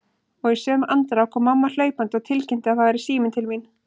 Og í sömu andrá kom mamma hlaupandi og tilkynnti að það væri síminn til mín.